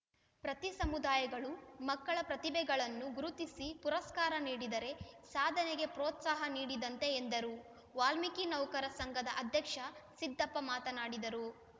ಪ್ರತಿ ಸಮುದಾಯಗಳು ಮಕ್ಕಳ ಪ್ರತಿಭೆಗಳನ್ನು ಗುರುತಿಸಿ ಪುರಸ್ಕಾರ ನೀಡಿದರೆ ಸಾಧನೆಗೆ ಪ್ರೋತ್ಸಾಹ ನೀಡಿದಂತೆ ಎಂದರು ವಾಲ್ಮೀಕಿ ನೌಕರ ಸಂಘದ ಅಧ್ಯಕ್ಷ ಸಿದ್ದಪ್ಪ ಮಾತನಾಡಿದರು